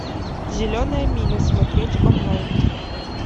зеленая миля смотреть онлайн